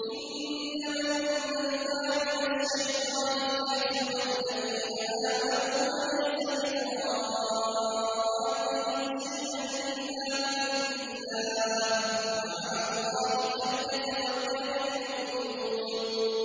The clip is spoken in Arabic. إِنَّمَا النَّجْوَىٰ مِنَ الشَّيْطَانِ لِيَحْزُنَ الَّذِينَ آمَنُوا وَلَيْسَ بِضَارِّهِمْ شَيْئًا إِلَّا بِإِذْنِ اللَّهِ ۚ وَعَلَى اللَّهِ فَلْيَتَوَكَّلِ الْمُؤْمِنُونَ